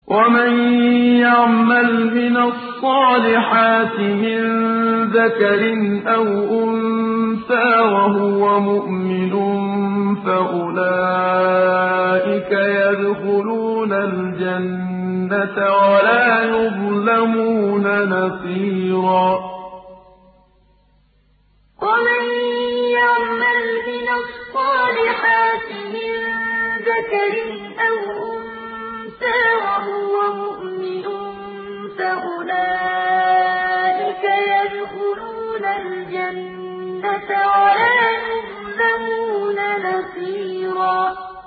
وَمَن يَعْمَلْ مِنَ الصَّالِحَاتِ مِن ذَكَرٍ أَوْ أُنثَىٰ وَهُوَ مُؤْمِنٌ فَأُولَٰئِكَ يَدْخُلُونَ الْجَنَّةَ وَلَا يُظْلَمُونَ نَقِيرًا وَمَن يَعْمَلْ مِنَ الصَّالِحَاتِ مِن ذَكَرٍ أَوْ أُنثَىٰ وَهُوَ مُؤْمِنٌ فَأُولَٰئِكَ يَدْخُلُونَ الْجَنَّةَ وَلَا يُظْلَمُونَ نَقِيرًا